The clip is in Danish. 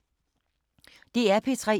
DR P3